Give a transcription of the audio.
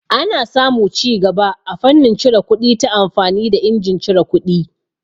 Ana samu cigaba a fannin cire kuɗi ta amfani da injin cire kuɗi.